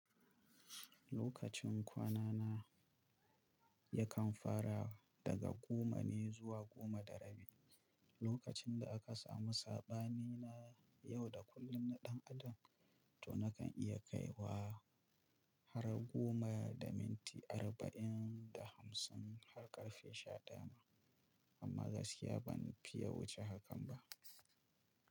Lokacin kwanana yakan fara daga goma ne zuwa goma da rabi, lokacin da aka samu saɓani na yau da kullun na ɗan adam, to nakan iya kaiwa har goma da minti arba'in da hamsin har ƙarfe shadaya ma. Amma gaskiya ban fiye wuce hakan ba.